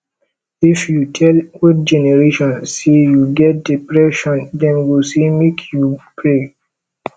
if you tell old generation sey you get depression dem go sey make you pray